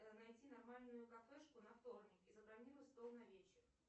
найди нормальную кафешку на вторник и забронируй стол на вечер